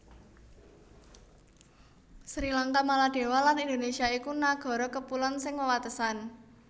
Sri Lanka Maladewa lan Indonésia iku nagara kapulon sing wewatesan